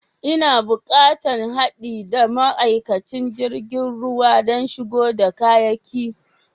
N'na bukatan haɗi da ma'aikaci jirigin ruwa dan shigo da kayaki.